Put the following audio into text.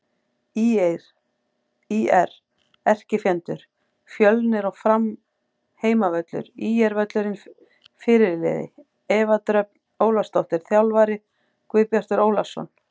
ÍR: Erkifjendur: Fjölnir og Fram Heimavöllur: ÍR-völlurinn Fyrirliði: Eva Dröfn Ólafsdóttir Þjálfarar: Guðbjartur Ólafsson